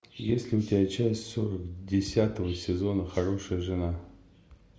есть ли у тебя часть сорок десятого сезона хорошая жена